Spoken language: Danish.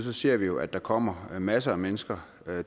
vi ser jo at der kommer masser af mennesker